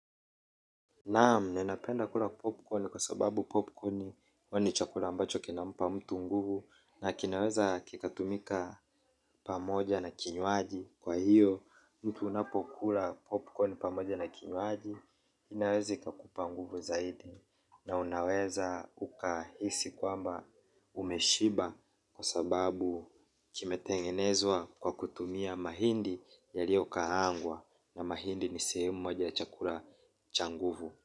Naam ninapenda kula popcorn kwa sababu popcorn huwa ni chakula ambacho kinampa mtu nguvu na kinaweza kikatumika pamoja na kinywaji kwa hiyo mtu unapokula popcorn pamoja na kinywaji inaweza ikakupa nguvu zaidi na unaweza ukahisi kwamba umeshiba kwa sababu kimetengenezwa kwa kutumia mahindi yaliyo kaangwa na mahindi ni sehemu moja chakula cha nguvu.